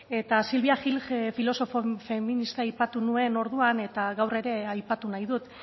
eta silvia gilges filosofo feminista aipatu nuen orduan eta gaur ere aipatu nahi dut